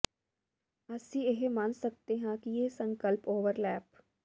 ਅਸੀਂ ਇਹ ਮੰਨ ਸਕਦੇ ਹਾਂ ਕਿ ਇਹ ਸੰਕਲਪ ਓਵਰਲੈਪ